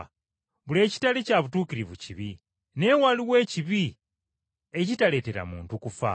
Buli ekitali kya butuukirivu kibi, naye waliwo ekibi ekitaleetera muntu kufa.